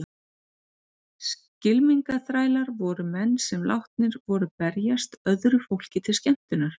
Skylmingaþrælar voru menn sem látnir voru berjast öðru fólki til skemmtunar.